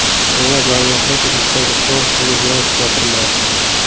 So‘ngra barmoqlar idishdagi sovuq suvga biroz botiriladi.